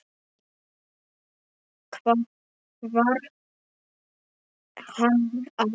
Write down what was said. Það varð hann að gera.